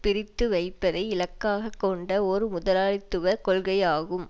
பிரித்து வைப்பதை இலக்காக கொண்ட ஒரு முதலாளித்துவ கொள்கையாகும்